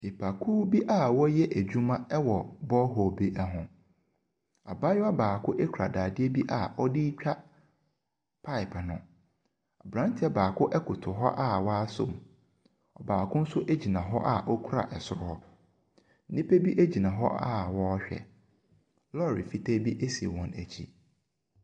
Nnipakuo bi a wɔɔyɛ adwuma ɛwɔ bɔɔhol bi ɛho. Abaayewa baako bi ɛkura dadeɛ a ɔdee twa paep nem. Aberanteɛ baako ɛkoto hɔ a wasɔm. Ɔbaako nso ɛgyina hɔ a wasɔ ɛsoro hɔ. Nnipa ɛgyina hɔ a wɔɔhwɛ. Lɔre fitaa bi ɛsi wɔn akyi.